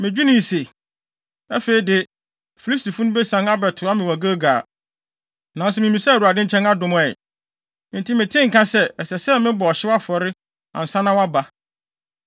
medwenee se, ‘Afei de, Filistifo no besian abɛtoa me wɔ Gilgal, nanso mimmisaa Awurade nkyɛn adom ɛ.’ Enti metee nka sɛ, ɛsɛ sɛ mebɔ ɔhyew afɔre ansa na woaba.”